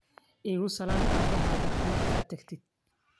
Iikusalan caabahadha marka taktidh.